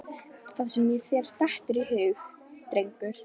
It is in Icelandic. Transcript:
Það sem þér dettur í hug, drengur.